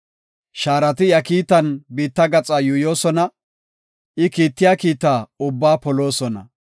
Shaarati iya kiitan biitta gaxaa yuuyosona; I kiittiya kiita ubbaa poloosona.